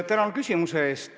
Tänan küsimuse eest!